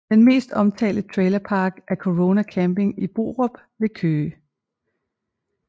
Den mest omtalte trailerpark er Corona Camping i Borup ved Køge